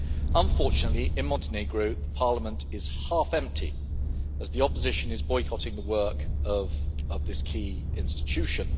Unfortunately, in Montenegro, parliament is half empty, as the opposition is boycotting the work of this key institution.